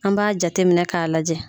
An b'a jateminɛ k'a lajɛ.